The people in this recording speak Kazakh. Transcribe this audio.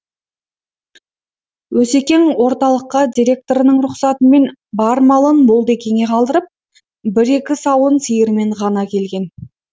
осекең орталыққа директорының рұқсатымен бар малын молдекеңе қалдырып бір екі сауын сиырымен ғана келген